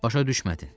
Başa düşmədin.